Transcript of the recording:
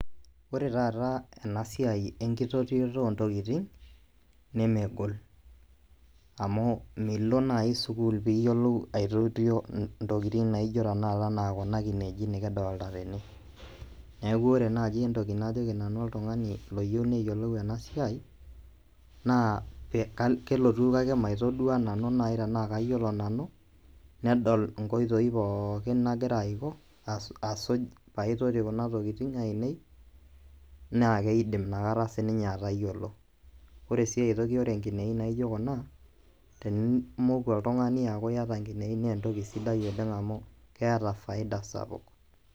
Ore taata enasiai enkitotioto ontokitin nemegol amu milo nai sukul piiyiolou aitotio intokitin naaijo tenakata anaa kuna kineji eji nikidolta tene. Neaku ore naji entoki najoki nanu oltung'ani loyou neyiolou ena siai naa pee, kelotu kake maitoduaa nanu nai tenaake ayiolo nanu nedol inkoitoi pookin nagira aiko asuj paaitoti kuna tokitin ainei naakeidim inakata sininye atayiolo. Ore sii aitoki ore nkineji naijo kuna tenimoku oltung'ani ayaku iata inkineji neentoki sidai oleng' amu keeta faida sapuk.